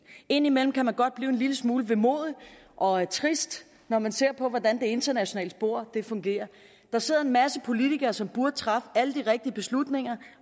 indimellem kan man godt blive en lille smule vemodig og trist når man ser hvordan det internationale spor fungerer der sidder en masse politikere som burde træffe alle de rigtige beslutninger